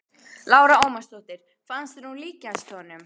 Lára Ómarsdóttir: Fannst þér hún líkjast honum?